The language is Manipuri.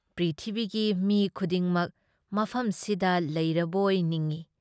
ꯄ꯭ꯔꯤꯊꯤꯕꯤꯒꯤ ꯃꯤ ꯈꯨꯗꯤꯡꯃꯛ ꯃꯐꯝꯁꯤꯗ ꯂꯩꯔꯕꯣꯏ ꯅꯤꯡꯢ꯫